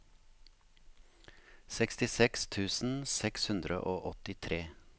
sekstiseks tusen seks hundre og åttitre